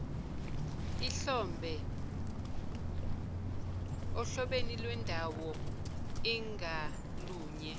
ohlobeni lwendawoi ngalunye